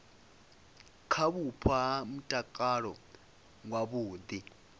kha vhupo ha mutakalo wavhudi